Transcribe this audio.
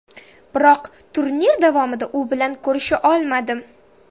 Biroq turnir davomida u bilan ko‘risha olmadim.